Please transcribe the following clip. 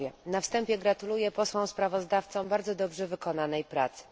Na wstępie gratuluję posłom sprawozdawcom bardzo dobrze wykonanej pracy.